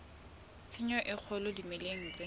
tshenyo e kgolo dimeleng tse